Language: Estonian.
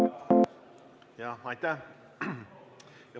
Jah, aitäh!